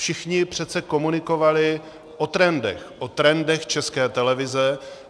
Všichni přece komunikovali o trendech, o trendech České televize.